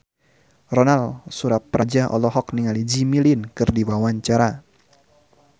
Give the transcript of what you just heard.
Ronal Surapradja olohok ningali Jimmy Lin keur diwawancara